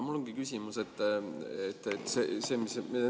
Mul on selline.